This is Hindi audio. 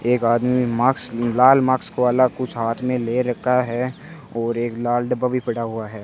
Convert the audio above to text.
एक आदमी में माक्स लाल माक्स वाला कुछ हाथ में ले रखा है और एक लाल डब्बा भी पड़ा हुआ है।